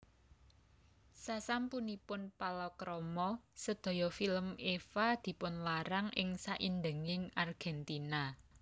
Sasampunipun palakrama sedaya film Eva dipunlarang ing saindhenging Argentina